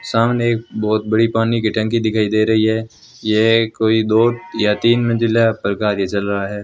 सामने एक बहोत बड़ी पानी की टंकी दिखाई दे रही है यह एक कोई दो या तीन मंजिला पर कार्य चल रहा है।